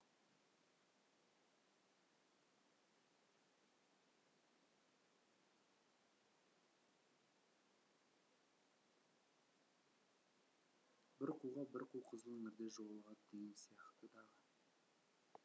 бір қуға бір қу қызыл іңірде жолығады деген сияқты дағы